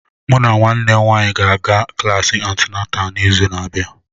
Mụ na nwanne m nwanyị ga-aga klasi antịnátà n'izu na-abịa